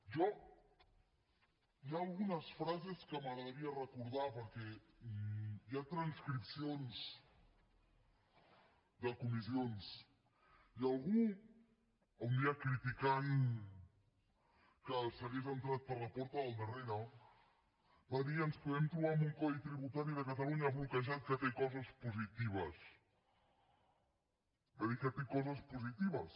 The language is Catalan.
jo hi ha algunes frases que m’agradaria recordar perquè hi ha transcripcions de comissions i algú un dia criticant que s’hagués entrat per la porta del darrere va dir ens podem trobar amb un codi tributari de catalunya bloquejat que té coses positives va dir que té coses positives